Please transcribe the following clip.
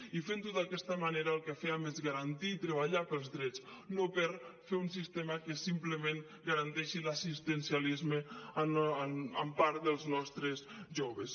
i fent ho d’aquesta manera el que fèiem és garantir treballar pels drets no per fer un sistema que simplement garanteixi l’assistencialisme en part dels nostres joves